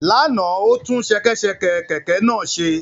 Lánàá, o tún ṣẹkẹ́ṣẹkẹ̀ kẹ̀kẹ́ náà ṣe